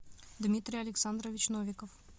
дмитрий александрович новиков